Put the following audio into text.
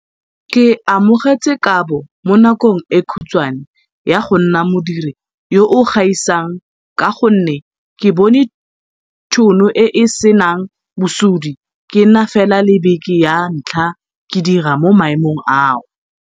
Ke amogetse kabo mo nakong e khutshwane ya go nna modiri yo o gaisang ka gonne ke bone thuno e e senang bosodi ke na fela le beke ya ntlha ke dira mo maemong ao.